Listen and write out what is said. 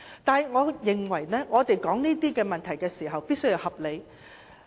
但是，我認為我們討論這些問題時，必須合理。